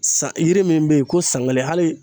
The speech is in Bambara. San yiri min bɛ yen ko san kelen hali